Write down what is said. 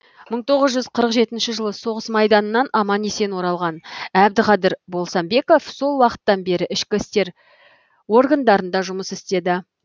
мың тоғыз жүз қырық жетінші жылы соғыс майданынан аман есен оралған әбдіқадір болсамбеков сол уақыттан бері ішкі істер органдарында жұмыс істеді